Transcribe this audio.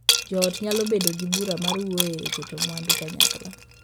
Joot nyalo bedo gi bura mar wuoye e keto mwandu kanyakla.